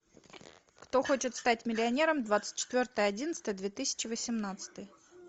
кто хочет стать миллионером двадцать четвертое одиннадцатое две тысячи восемнадцатый